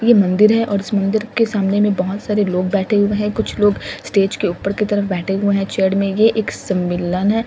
ये मंदिर है और इस मंदिर के सामने में बहौत सारे लोग बेठे हुए हैं कुछ लोग स्टेज के ऊपर के तरफ बेठे हुए हैं चेयर में ये एक समिलन है।